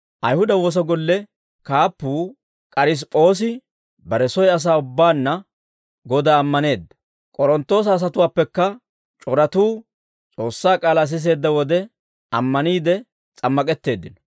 Ayihuda woosa golle kaappuu K'arisip'p'oosi bare soy asaa ubbaanna Godaa ammaneedda; K'oronttoosa asatuwaappekka c'oratuu S'oossaa k'aalaa siseedda wode, ammaniide s'ammak'etteeddino.